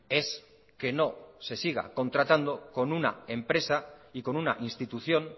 es que no se siga contratando con una empresa y con una institución